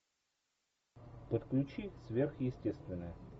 подключи сверхъестественное